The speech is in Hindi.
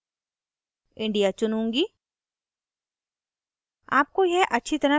country में मैं india चुनूँगी